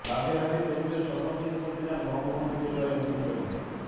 বাগেরহাটের তরুণদের স্বপ্নপূরণ করতে চান বঙ্গবন্ধু পরিবারের নতুন প্রজন্ম